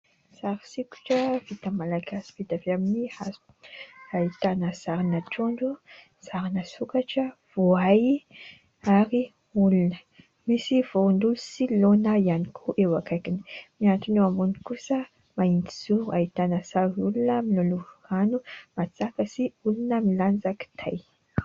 Sary sokitra vita malagasy, vita avy amin'ny hazo. Ahitana sarina trondro, sarina sokatra, voay ary olona. Misy voano sy laona ihany koa, eo akaikiny miantona eo ambony kosa mahitsy zoro ahitana sarin' olona miloloha rano natsaka sy olona milanja kitay.